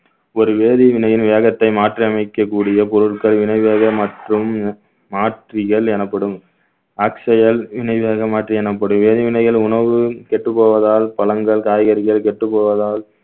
ஒரு வேதி வினையின் வேகத்தை மாற்றி அமைக்கக்கூடிய பொருட்கள் வினை வேக மற்றும் மாற்றியல் எனப்படும் மாற்று எனப்படும் வேதிவினைகள் உணவு கெட்டப் போவதால் பழங்கள் காய்கறிகள் கெட்டப் போவதால்